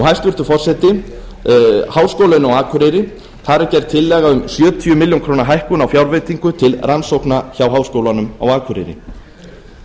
hæstvirtur forseti háskólinn á akureyri þar er gerð er tillaga um sjötíu milljónum króna hækkun á fjárveitingu til rannsókna hjá háskólanum á akureyri